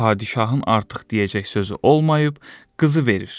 Padişahın artıq deyəcək sözü olmayıb, qızı verir.